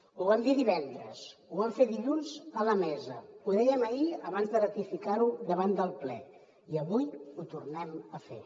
ho vam dir divendres ho vam fer dilluns a la mesa ho dèiem ahir abans de ratificar ho davant del ple i avui ho tornem a fer